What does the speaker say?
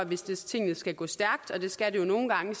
hvis tingene skal gå stærkt og det skal de jo nogle gange